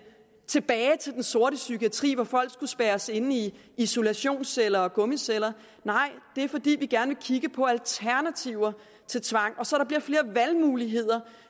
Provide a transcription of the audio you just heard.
tilbage til den sorte psykiatri hvor folk skulle spærres inde i isolationsceller og gummiceller nej det er fordi vi gerne vil kigge på alternativer til tvang så der bliver flere valgmuligheder